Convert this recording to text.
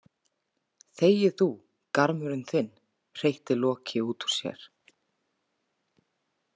Þegi þú, garmurinn þinn, hreytti Loki út úr sér.